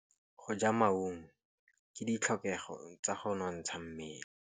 Go ja maungo ke ditlhokegô tsa go nontsha mmele.